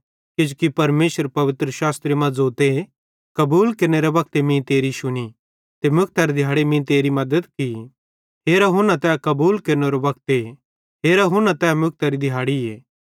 किजोकि परमेशर पवित्रशास्त्रे मां ज़ोते कबूल केरनेरे वक्ते मीं तेरी शुनी ते मुक्तरे दिहाड़े मीं तेरी मद्दत की हेरा हुना तै कबूल केरनेरो वक्ते हरा हुना तै मुक्तरी दिहाड़ीए